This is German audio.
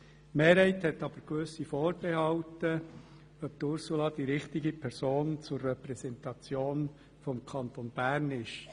Die Mehrheit hat aber gewisse Vorbehalte, ob Ursula Zybach die richtige Person zur Repräsentation des Kantons Bern ist.